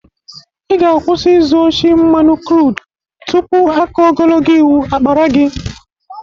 Ị ga-akwusị ịzụ oshi mmanụ krud tupu aka ogologo iwu akpara gị!